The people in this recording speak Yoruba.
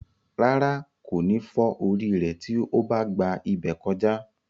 Rárá, kò ní fọ́ orí rẹ̀ tí ó bá gba ibẹ̀ kọjá.